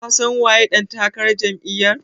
Ka san waye ɗan takarar Jam'iyar?